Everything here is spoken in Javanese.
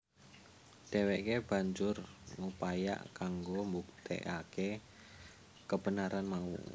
Dheweke banjur ngupaya kanggo mbuktekake kebenaran mau